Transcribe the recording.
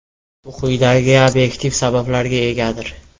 Bu quyidagi obyektiv sabablarga egadir.